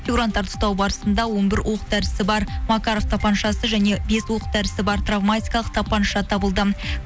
фигуранттарды ұстау барысында он бір оқ дәрісі бар макаров тапаншасы және бес оқ дәрісі бар травматикалық тапанша табылды